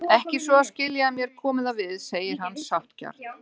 Ekki svo að skilja að mér komi það við, segir hann sáttgjarn.